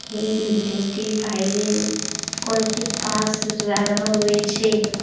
এই বিল্ডিং -টির বাইরে কয়েকটি বাস দাঁড়ানো রয়েছে।